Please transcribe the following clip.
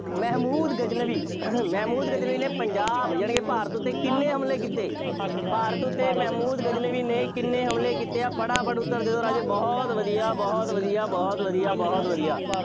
ਮਹਿਮੂਦ ਗਜ਼ਨਵੀ, ਮਹਿਮੂਦ ਗਜ਼ਨਵੀ ਨੇ ਪੰਜਾਬ ਯਾਨੀ ਕਿ ਭਾਰਤ ਉੱਤੇ ਕਿੰਨੇ ਹਮਲੇ ਕੀਤੇ? ਭਾਰਤ ਉੱਤੇ ਮਹਿਮੂਦ ਗਜ਼ਨਵੀ ਨੇ ਕਿੰਨੇ ਹਮਲੇ ਕੀਤੇ? ਫਟਾਫਟ ਉੱਤਰ ਦਿਓ ਰਾਜੇ, ਬਹੁਤ ਵਧੀਆ, ਬਹੁਤ ਵਧੀਆ, ਬਹੁਤ ਵਧੀਆ, ਬਹੁਤ ਵਧੀਆ।